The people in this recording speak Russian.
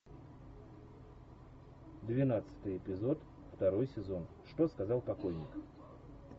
двенадцатый эпизод второй сезон что сказал покойник